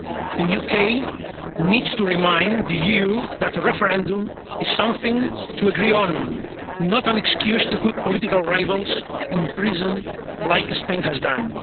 The UK needs to remind the EU that a referendum is something to agree on, not an excuse to put political rivals in prison as Spain has done.